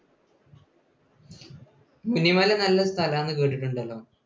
മുനിമല നല്ല സ്ഥലമാണെന്ന് കേട്ടിട്ടുണ്ടല്ലോ.